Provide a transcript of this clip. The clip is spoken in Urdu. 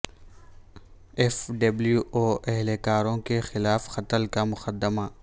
ایف ڈبلیو او اہلکاروں کے خلاف قتل کا مقدمہ